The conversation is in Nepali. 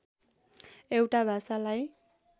एउटा भाषालाई